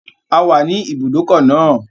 A wà ní ibùdókọ̀ náà